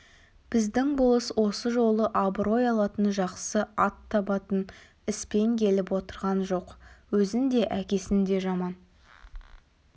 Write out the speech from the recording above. біздің болыс осы жолы абырой алатын жақсы ат табатын іспен келіп отырған жоқ өзін де әкесін де жаман